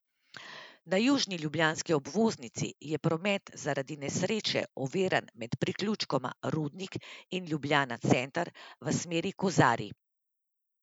Na južni ljubljanski obvoznici je promet zaradi nesreče oviran med priključkoma Rudnik in Ljubljana center v smeri Kozarij.